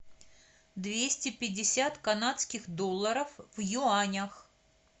двести пятьдесят канадских долларов в юанях